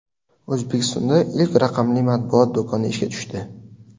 O‘zbekistonda ilk raqamli matbuot do‘koni ishga tushdi.